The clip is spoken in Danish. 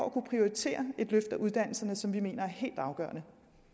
at kunne prioritere det løft af uddannelserne som vi mener er helt afgørende